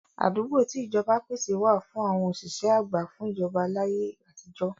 Àdúgbò tí ìjọba pèsè wà fún àwọn òṣìṣẹ́ àgbà fún ìjọba láyé àtijọ́.